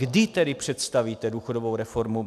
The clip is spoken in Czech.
Kdy tedy představíte důchodovou reformu?